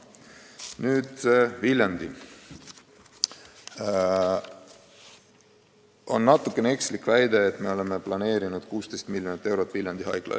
On natuke ekslik väita, et me oleme plaaninud eraldada 16 miljonit eurot Viljandi Haiglale.